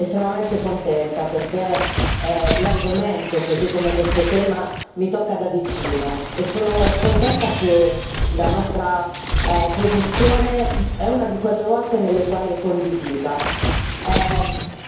Ne sono estremamente contenta perché l'argomento, così come questo tema, mi tocca da vicino e sono contenta che la nostra posizione è una di quelle volte nelle quali è condivisa.